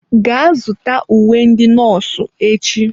Gaa zụta uwe ndị nọọsụ echi!